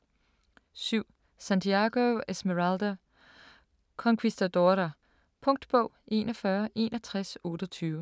7. Santiago, Esmeralda: Conquistadora Punktbog 416128